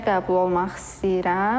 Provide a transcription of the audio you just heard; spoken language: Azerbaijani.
Peşəyə qəbul olmaq istəyirəm.